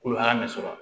Kolo hakɛ min sɔrɔ